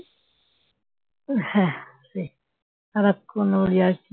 হ্যাঁ সেই সারাক্ষণ ওর ইয়ার্কি